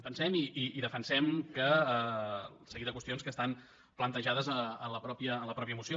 pensem i defensem el seguit de qüestions que estan plantejades a la mateixa moció